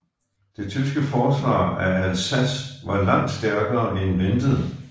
Det tyske forsvar af Alsace var langt stærkere end ventet